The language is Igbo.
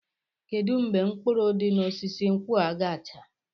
Kedu mgbe mkpụrụ di n'osisi nkwụ a ga-acha?